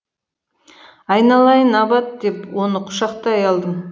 айналайын абат деп оны құшақтай алдым